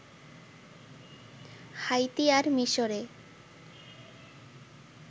Haiti আর মিশরে